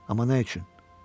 Amma nə üçün?